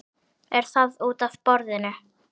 Er það útaf borðinu?